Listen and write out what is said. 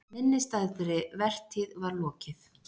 Minnisstæðri vertíð var lokið.